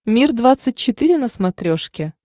мир двадцать четыре на смотрешке